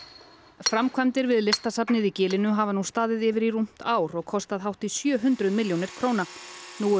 framkvæmdir við Listasafnið í gilinu hafa nú staðið yfir í rúmt ár og kostað hátt í sjö hundruð milljónir króna nú eru